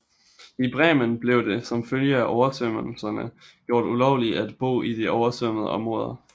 I Bremen blev det som følge af oversvømmelserne gjort ulovligt at bo i de oversvømmede områder